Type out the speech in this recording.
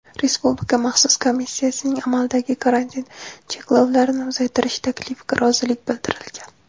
Respublika maxsus komissiyasining amaldagi karantin cheklovlarini uzaytirish taklifiga rozilik bildirilgan.